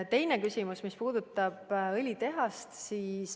Teine küsimus puudutas õlitehast.